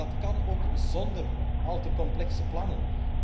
Maar dat kan ook zonder al te complexe plannen.